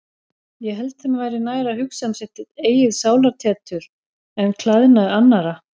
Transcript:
Ég held þeim væri nær að hugsa um sitt eigið sálartetur en klæðnað annarra.